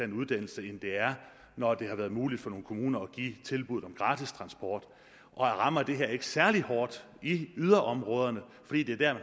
en uddannelse end det er når det har været muligt for nogle kommuner at give tilbud om gratis transport og rammer det her ikke særlig hårdt i yderområderne fordi det er der